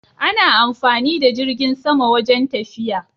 Ana amfani da jirgin sama wajen tafiya